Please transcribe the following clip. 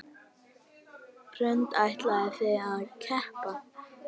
Hrund: Ætlið þið að keppa?